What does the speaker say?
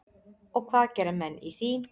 Og hvað gera menn í því?